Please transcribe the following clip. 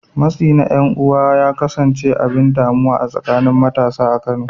Matsi na ’yan uwa ya kasance abin damuwa a tsakanin matasa a Kano.